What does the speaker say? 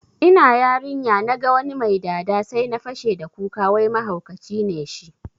Ina yarinya naga wani mai dada sai na fashe da kuka wai mahaukaci ne shi